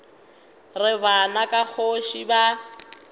re bana ba kgoši ba